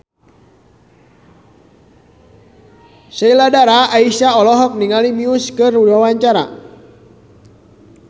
Sheila Dara Aisha olohok ningali Muse keur diwawancara